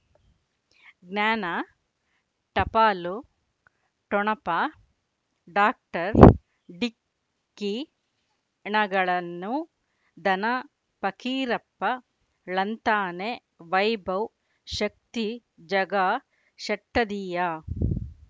ಜ್ಞಾನ ಟಪಾಲು ಠೊಣಪ ಡಾಕ್ಟರ್ ಢಿಕ್ಕಿ ಣಗಳನು ಧನ ಫಕೀರಪ್ಪ ಳಂತಾನೆ ವೈಭವ್ ಶಕ್ತಿ ಝಗಾ ಷಟ್ಟದಿಯ